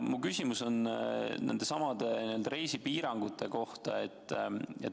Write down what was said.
Minu küsimus on nendesamade reisipiirangute kohta.